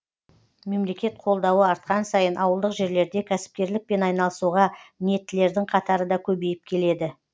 мемлекет қолдауы артқан сайын ауылдық жерлерде кәсіпкерлікпен айналысуға ниеттілердің қатары да көбейіп келеді